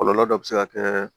Kɔlɔlɔ dɔ bɛ se ka kɛ